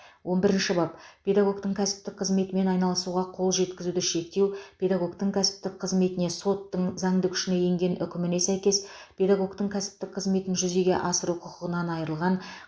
он бірінші бап педагогтің кәсіптік қызметімен айналысуға қол жеткізуді шектеу педагогтің кәсіптік қызметіне соттың заңды күшіне енген үкіміне сәйкес педагогтің кәсіптік қызметін жүзеге асыру құқығынан айырылған